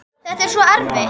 Þetta er svo erfitt.